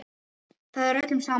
Það er öllum sama.